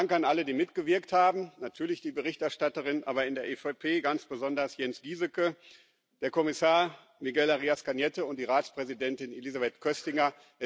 Danke an alle, die mitgewirkt haben natürlich die Berichterstatterin, aber in der EVP ganz besonders Jens Gieseke, Kommissar Miguel Arias Cañete und die Ratspräsidentin Elisabeth Köstinger.